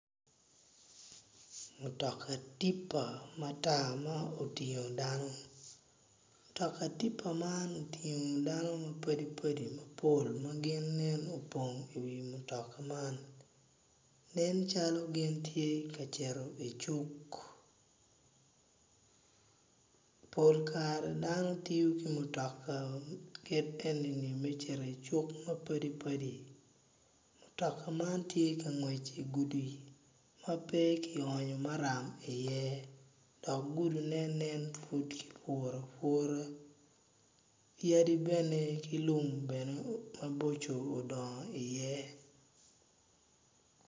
Mutoka tipa matar ma otingo dano mutoka tipa man otingo dano mapadi padi mapol maginen opong i wi mutoka man nen calo gin tye ka cito i cuk pol kare dano tiyo ki mutoka kit enini me cito i cuk mapadi padi mutoka man tye ka ngwec idigudi ma peki onyo maram i ye dok gudi ne nen pud kipuro apura yadi bene ki lum bene maboco odongo i ye.